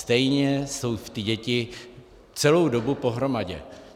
Stejně jsou ty děti celou dobu pohromadě.